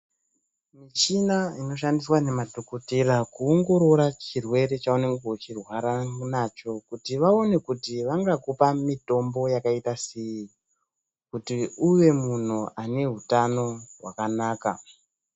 Muchina inoshandiswa nemadhokothera kuongorora chirwere cheunenge uchirwara nacho, kuti vaone kuti vangakupa mitombo yakaitasei, kuti uve munhu ane hutano hwakanaka.